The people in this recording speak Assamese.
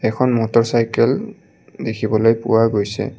এখন মটৰচাইকেল দেখিবলৈ পোৱা গৈছে।